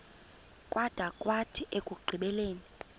kwada kwathi ekugqibeleni